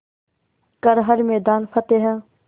कर हर मैदान फ़तेह